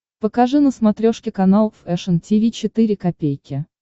покажи на смотрешке канал фэшн ти ви четыре ка